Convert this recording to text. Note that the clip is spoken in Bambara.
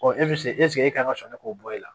Ɔ e bɛ se e kan ka sɔn ne k'o bɔ e la